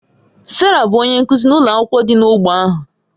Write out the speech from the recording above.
Sarah bụ onye nkụzi n'ụlọ akwụkwọ dị n'ógbè ahụ.